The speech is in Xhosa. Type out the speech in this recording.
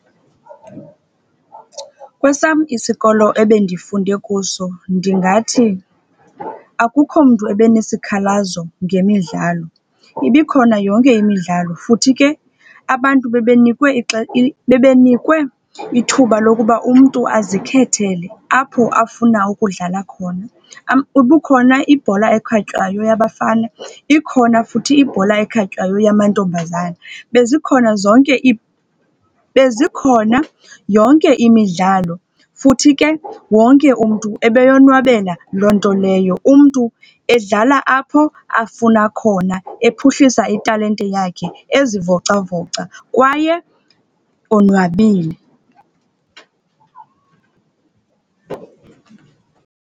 Kwesam isikolo ebendifunde kuso ndingathi akukho mntu ebenesikhalazo ngemidlalo. Ibikhona yonke imidlalo, futhi ke abantu bebenikwe bebenikwe ithuba lokuba umntu azikhethele apho afuna ukudlala khona. Ibikhona ibholwa ekhatywayo yabafana, ikhona futhi ibhola ekhatywayo yamantombazana. Bezikhona zonke bezikhona yonke imidlalo, futhi ke wonke umntu ebeyonwabela loo nto leyo. Umntu edlala apho afuna khona, ephuhlisa italente yakhe ezivocavoca, kwaye enwabile.